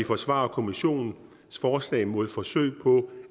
forsvarer kommissionens forslag mod forsøg på